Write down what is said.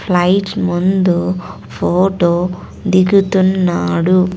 Light ముందు photo దిగుతున్నాడు.